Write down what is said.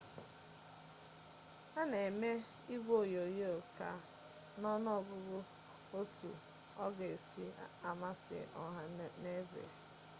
a na eme igwe onyonyo ka n'ọnụ ọgụgụ otu ọ ga-esi amasị ọha n'eze